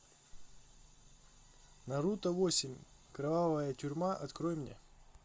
наруто восемь кровавая тюрьма открой мне